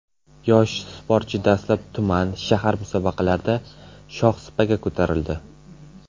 Yosh sportchi dastlab tuman, shahar musobaqalarida shohsupaga ko‘tarildi.